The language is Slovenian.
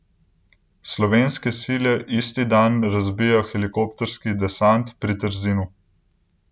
Slovenske sile isti dan razbijejo helikopterski desant pri Trzinu.